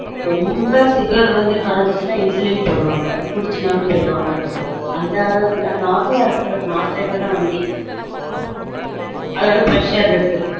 ரொம்ப sugar வந்து குரஞ்சுச்சுனா insulin போடுவாங்க புடிச்சுனாலும் போடு வாங்க அந்த அளவுக்கு இல்ல normal அ இருக்கு but மாத்திரைல தான் வண்டி